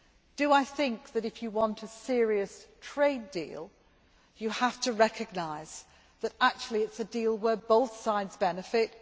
Do I think that if you want a serious trade deal you have to recognise that actually it is a deal where both sides benefit?